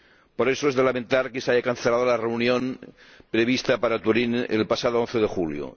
Por eso, es de lamentar que se cancelara la reunión prevista en Turín el pasado 11 de julio.